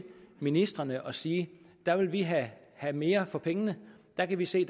ministrene og sige at der vil vi have mere for pengene og der kan vi se